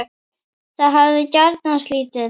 Það hefði gagnast lítið.